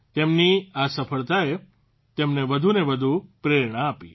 તેમની આ સફળતાએ તેમને વધુ ને વધુ પ્રેરણા આપી